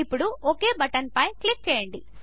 ఇప్పుడు ఒక్ బటన్పై క్లిక్ చేయండి